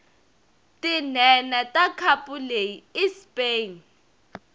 tinhenha takhapuleyi ispain